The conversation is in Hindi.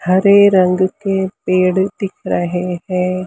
हरे रंग के पेड़ दिख रहे हैं।